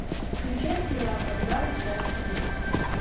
включай сериал когда растаял снег